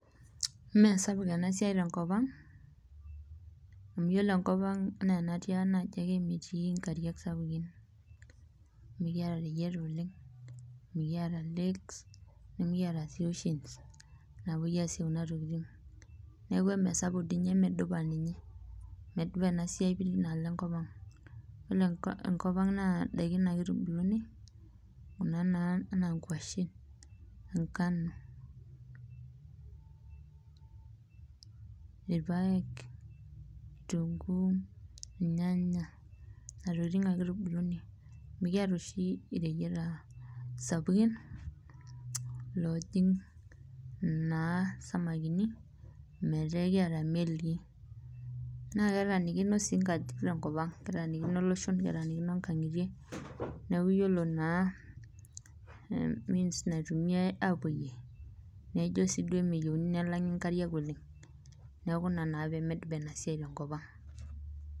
Mee sapuk ena siai tenkopang amu yiolo enkopang ena tianka naji ake metii nkariak sapukin ,mikiara reyiata oleng ,mikiata [lakes mikiata sii oceans napoi aasie kuna tokiting neeku emedupa emikiasita dei ninye ,medupa ena siai tenkopang ,yiolo enkopang naa ndakikn ake eitubuluni kuna ena nkwashen ,enkano, irpaek ,kitunkuu ,irnyanya ,nena tokiting ake eitubuluni mikiata oshi ireyiata sapukin oojing isinkir metaa ekiata naa melii .naa ketaanikino sii nkajijik tenkopang ,ketaanikino iloshon ,ketaanikino nkangitie neeku yiolo naa means naitumiyai aapoyie naa ijo sii duo emeitumiyia nkariak oleng neeku ina naa pee medupa enasai tenkopang.